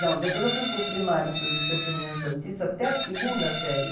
Não, depois eu fui para o primário, para o Liceu Feminino Santista, até a segunda série.